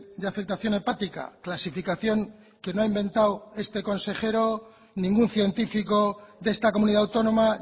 de afectación hepática clasificación que no ha inventado este consejero ningún científico de esta comunidad autónoma